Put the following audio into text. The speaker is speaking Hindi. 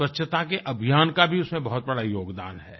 स्वच्छता के अभियान का भी उसमें बहुत बड़ा योगदान है